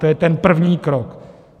To je ten první krok.